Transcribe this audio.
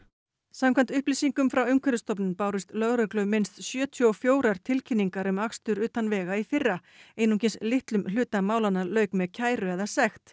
samkvæmt upplýsingum frá Umhverfisstofnun bárust lögreglu minnst sjötíu og fjórar tilkynningar um akstur utan vega í fyrra einungis litlum hluta málanna lauk með kæru eða sekt